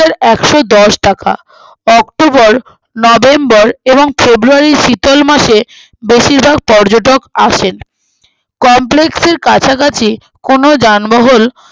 একশোদশ টাকা October November এবং february র শীতল মাসে বেশির ভাগ পর্যটক আসছেন complex এর কাছাকাছি কোনো জানবাহল